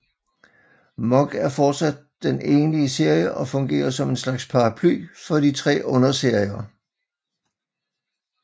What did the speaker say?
MoG er fortsat den egentlige serie og fungerer som en slags paraply for de tre underserier